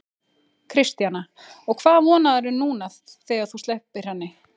Kristjana: Og hvað vonarðu núna þegar þú sleppir henni?